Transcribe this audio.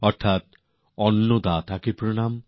অর্থ্যাৎ অন্নদাতাকে প্রণাম